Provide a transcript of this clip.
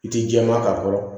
I ti jɛman kan fɔlɔ